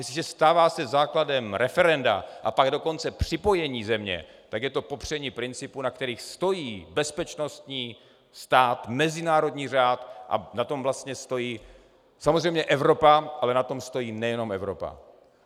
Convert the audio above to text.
Jestliže se stává základem referenda a pak dokonce připojení země, tak je to popření principů, na kterých stojí bezpečnostní stát, mezinárodní řád, a na tom vlastně stojí samozřejmě Evropa, ale na tom stojí nejenom Evropa.